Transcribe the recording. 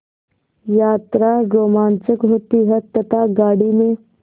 यात्रा रोमांचक होती है तथा गाड़ी में